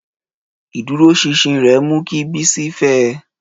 Ìdúróṣinṣin rẹ̀ mú kí Bisi fẹ́ ẹ.